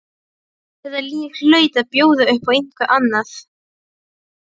Þetta líf hlaut að bjóða upp á eitthvað annað.